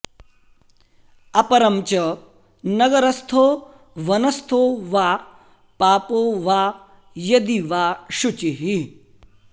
अपरं च नगरस्थो वनस्थो वा पापो वा यदि वा शुचिः